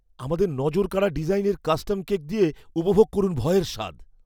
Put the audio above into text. আমাদের নজরকাড়া ডিজাইনের কাস্টম কেক দিয়ে উপভোগ করুন ভয়ের স্বাদ।